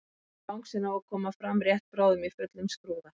En bangsinn á að koma fram rétt bráðum í fullum skrúða.